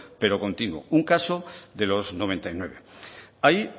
pero continuo un caso de los noventa y nueve ahí